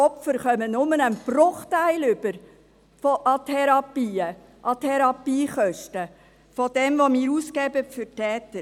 Die Opfer erhalten nur einen Bruchteil an Therapien, an Therapiekosten, wie sie für die Täter ausgegeben werden.